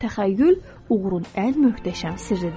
Təxəyyül uğurun ən möhtəşəm sirridir.